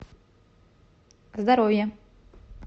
здоровье